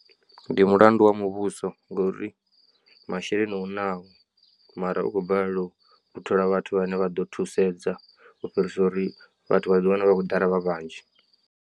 Ndi mulandu wa muvhuso ngori masheleni u nao mara u khou balelwa u thola vhathu vhane vha ḓo thusedza u fhirisa uri vhathu vha ḓiwane vha khou ḓala vha vhanzhi.